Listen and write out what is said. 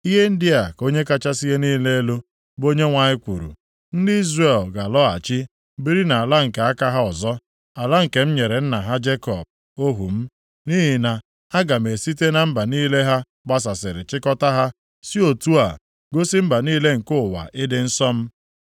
“ ‘Ihe ndị a ka Onye kachasị ihe niile elu, bụ Onyenwe anyị kwuru: Ndị Izrel ga-alọghachi biri nʼala nke aka ha ọzọ, ala nke m nyere nna ha Jekọb ohu m. Nʼihi na aga m esite na mba niile ha gbasasịrị chịkọtaa ha, si otu a gosi mba niile nke ụwa ịdị nsọ m.